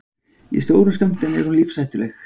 í stórum skömmtum er hún lífshættuleg